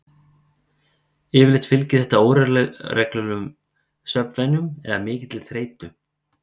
Yfirleitt fylgir þetta óreglulegum svefnvenjum eða mikilli þreytu.